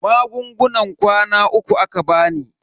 Magungunan kwana uku aka bani.